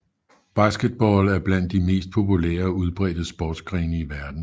Basketball er blandt de mest populære og udbredte sportsgrene i verden